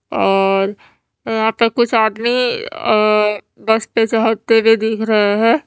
और अ यहा पर कुछ आदमी अ से जाते हुए दिख रहे है।